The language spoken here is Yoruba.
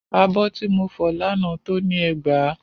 Abọ́ ti mo fọ lánàá tó ni ẹgbàá.